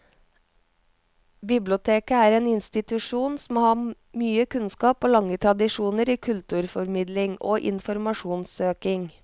Biblioteket er en institusjon som har mye kunnskap og lange tradisjoner i kulturformidling og informasjonssøking.